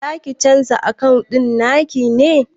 Zaki canza akawun ɗin naki ne?